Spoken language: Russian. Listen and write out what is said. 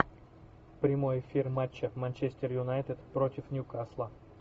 прямой эфир матча манчестер юнайтед против ньюкасла